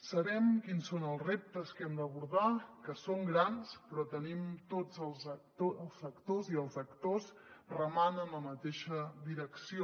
sabem quins són els reptes que hem d’abordar que són grans però tenim tots els sectors i els actors remant en la mateixa direcció